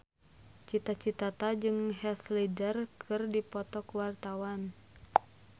Cita Citata jeung Heath Ledger keur dipoto ku wartawan